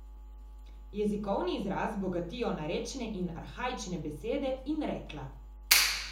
Jezikovni izraz bogatijo narečne in arhaične besede in rekla.